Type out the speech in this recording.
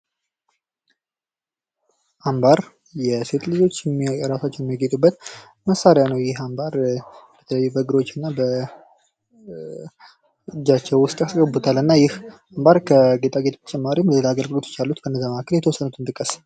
አምባር የሴት ልጆች እራሳቸውን የሚያጌጡበት መሳሪያ ነው። ይህ አምባር በእግሮች እና በእጃቸው ውስጥ ያስገቡታል እና ይህ አምባር ከጌጣጌጥ በተጨማሪም ሌላ አገልግሎቶች አሉት ከእነዛ መካከል የተወሰኑትን ጥቀስ።